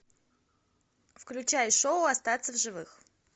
включай шоу остаться в живых